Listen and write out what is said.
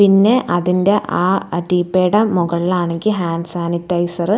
പിന്നെ അതിന്റെ ആ റ്റിപ്പേടെ മുകളിലാണെങ്കി ഹാൻഡ് സാനിറ്റൈസർ --